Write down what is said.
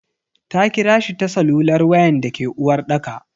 Ta kirashi ta salular wayan dake uwarɗaka.